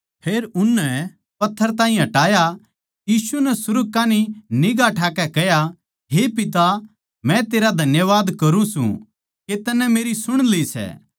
फेर उननै पत्थर ताहीं हटाया यीशु नै सुर्ग कान्ही निगांह ठाकै कह्या हे पिता मै तेरा धन्यवाद करूँ सूं के तन्नै मेरी सुण ली सै